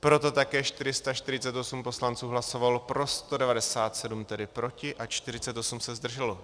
Proto také 448 poslanců hlasovalo pro, 197 tedy proti a 48 se zdrželo.